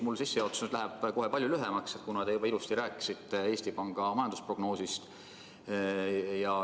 Mu sissejuhatus jääb nüüd küll palju lühemaks, kuna te juba ilusti rääkisite Eesti Panga majandusprognoosist.